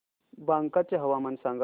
बांका चे हवामान सांगा